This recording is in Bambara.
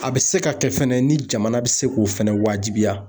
A bɛ se ka kɛ fɛnɛ ni jamana bɛ se k'o fɛnɛ wajibiya.